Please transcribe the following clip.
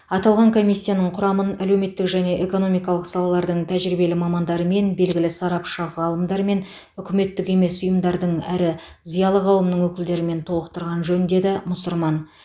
аталған комиссияның құрамын әлеуметтік және экономикалық салалардың тәжірибелі мамандарымен белгілі сарапшы ғалымдармен үкіметтік емес ұйымдардың әрі зиялы қауымның өкілдерімен толықтырған жөн деді мұсырман